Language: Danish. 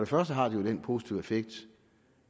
første har det den positive effekt